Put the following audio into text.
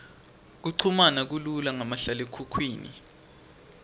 kuchumana kulula ngamahlalekhukhwini